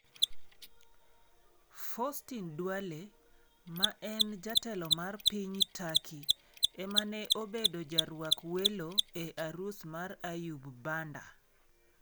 Foustine Dwale , ma en jatelo mar piny Turkey, ema ne obedo jarwak welo e arus mar Ayub Banda.